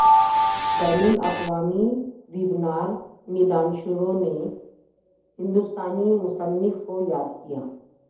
بین الاقوامی ویبنار میںدانشوروں نے ہندوستانی مصنف کو یاد کیا